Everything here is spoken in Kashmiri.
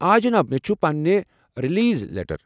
آ، جناب۔ مےٚ چُھ پنٕنہِ رلیز لیٚٹر۔